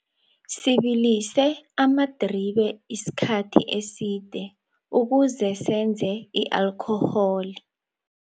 Sibilise amadribe isikhathi eside ukuze senze i-alkhoholi.